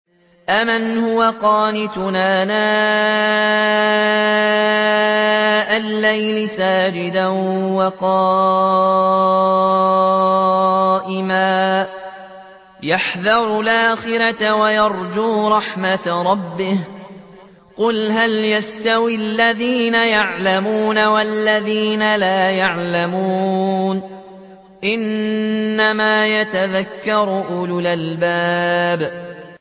أَمَّنْ هُوَ قَانِتٌ آنَاءَ اللَّيْلِ سَاجِدًا وَقَائِمًا يَحْذَرُ الْآخِرَةَ وَيَرْجُو رَحْمَةَ رَبِّهِ ۗ قُلْ هَلْ يَسْتَوِي الَّذِينَ يَعْلَمُونَ وَالَّذِينَ لَا يَعْلَمُونَ ۗ إِنَّمَا يَتَذَكَّرُ أُولُو الْأَلْبَابِ